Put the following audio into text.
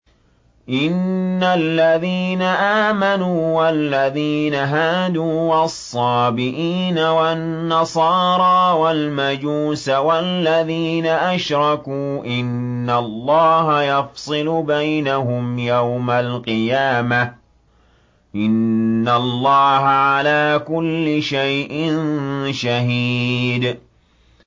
إِنَّ الَّذِينَ آمَنُوا وَالَّذِينَ هَادُوا وَالصَّابِئِينَ وَالنَّصَارَىٰ وَالْمَجُوسَ وَالَّذِينَ أَشْرَكُوا إِنَّ اللَّهَ يَفْصِلُ بَيْنَهُمْ يَوْمَ الْقِيَامَةِ ۚ إِنَّ اللَّهَ عَلَىٰ كُلِّ شَيْءٍ شَهِيدٌ